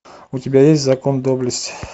у тебя есть закон доблести